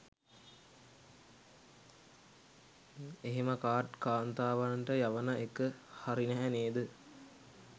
එහෙම කාඩ් කාන්තාවන්ට යවන එක හරි නැහැ නේද?